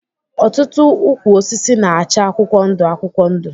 Ọtụtụ ukwụ osisi na-acha akwụkwọ ndu akwụkwọ ndu.